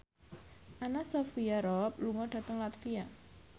Anna Sophia Robb lunga dhateng latvia